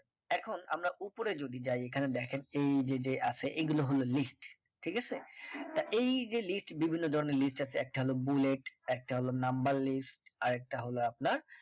এখন আমরা উপরে যদি যাই এখানে দেখেন এই যে যে আছে এগুলো হল list ঠিক আছে তা এই যে list বিভিন্ন ধরনের list আছে একটা হল bullet একটা হলো number list আর একটা হল আপনার